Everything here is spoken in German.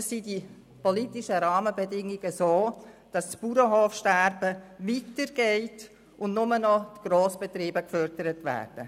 Oder sind die politischen Rahmenbedingungen so ausgestaltet, dass das Bauernhofsterben weitergeht und nur noch Grossbetriebe gefördert werden?